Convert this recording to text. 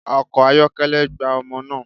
Ọkọ̀ ayọ́kẹ́lẹ́ gbá ọmọ naa